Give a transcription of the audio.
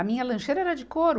A minha lancheira era de couro.